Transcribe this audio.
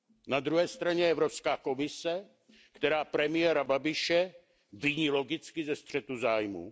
Na druhé straně je Evropská komise, která premiéra Babiše viní logicky ze střetu zájmů.